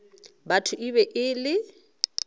batho e be e le